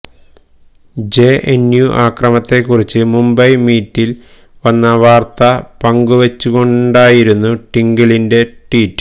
JNU അക്രമത്തെക്കുറിച്ച് മുംബൈ മിററിൽ വന്ന വാർത്ത പങ്കുവച്ചുകൊണ്ടായിരുന്നു ട്വിങ്കിളിന്റെ ട്വീറ്റ്